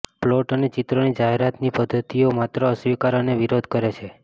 plot અને ચિત્રોની જાહેરાતની પદ્ધતિઓ માત્ર અસ્વીકાર અને વિરોધ કરે છે